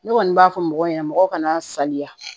Ne kɔni b'a fɔ mɔgɔw ɲɛna mɔgɔw ka na saliya